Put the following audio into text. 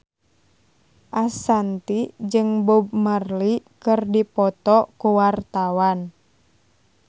Ashanti jeung Bob Marley keur dipoto ku wartawan